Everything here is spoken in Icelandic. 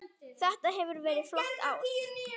Þetta hefur verið flott ár.